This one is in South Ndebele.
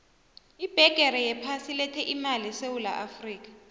ibhegere yephasi ilethe imali esewula afrika